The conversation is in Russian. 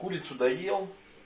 курицу доел